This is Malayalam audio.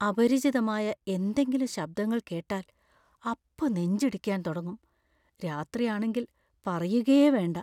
അപരിചിതമായ എന്തെങ്കിലും ശബ്ദങ്ങൾ കേട്ടാൽ അപ്പൊ നെഞ്ച് ഇടിക്കാൻ തുടങ്ങും. രാത്രിയാണെങ്കിൽ പറയുകയേ വേണ്ട.